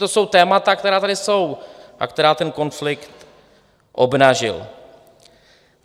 To jsou témata, která tady jsou a která ten konflikt obnažil.